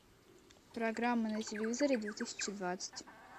программа на телевизоре две тысячи двадцать